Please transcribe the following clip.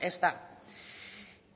ez da